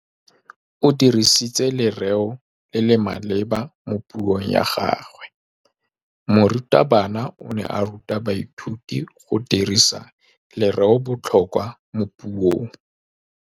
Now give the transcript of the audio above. O dirisitse lerêo le le maleba mo puông ya gagwe. Morutabana o ne a ruta baithuti go dirisa lêrêôbotlhôkwa mo puong.